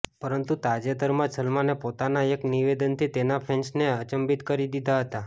પરંતુ તાજેતરમાં જ સલમાને પોતાના એક નિવેદનથી તેના ફેન્સને અચંબિત કરી દીધા હતા